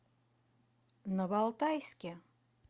новоалтайске